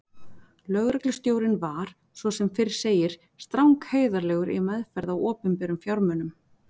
Lögreglustjórinn var, svo sem fyrr segir, strangheiðarlegur í meðferð á opinberum fjármunum.